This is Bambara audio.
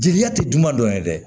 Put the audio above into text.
Jeliya tɛ dunan dɔ ye dɛ